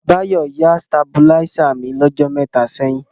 Báyọ̀ yá stàbúláisè mí lọ́jọ́ mẹta ṣẹ̀yìn.